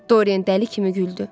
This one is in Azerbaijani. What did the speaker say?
Doren dəli kimi güldü.